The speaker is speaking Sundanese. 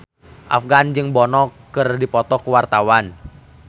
Afgan jeung Bono keur dipoto ku wartawan